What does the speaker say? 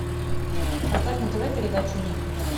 поставь на тв передачу ник